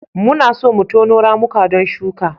Muna so mu tono ramuka don shuka.